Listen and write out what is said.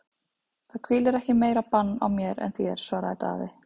Það hvílir ekki meira bann á mér en þér, svaraði Daði.